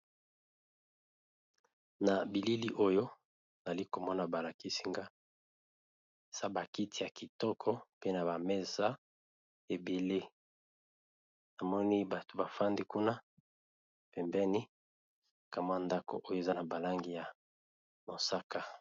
Na bilili oyo nali komona ba lakisi nga sa ba kiti ya kitoko pe na ba mesa ebele, namoni bato bafandi kuna pembeni ka mwa ya ndako oyo eza na ba langi ya mosaka.